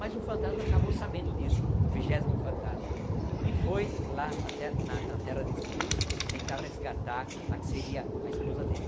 Mas um fantasma acabou sabendo disso, o vigésimo fantasma, e foi lá na te na na terra desse príncipe tentar resgatar a que seria a esposa dele.